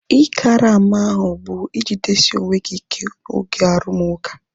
Ị karama ahu bu ijidesi onwe gị ike oge arumuka